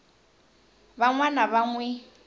van wana va n wi